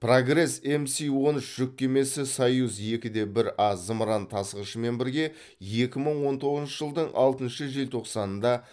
прогресс мс он үш жүк кемесі союз екі де бір а зымыран тасығышымен бірге екі мың он тоғызыншы жылдың алтыншы желтоқсанында